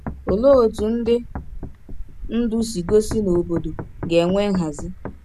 Olee otú ndị ndú si gosi na obodo ga-enwe nhazi?